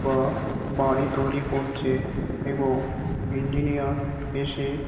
বা বাড়ি তৈরী করছে এবং ইঞ্জিনিয়ার এসে--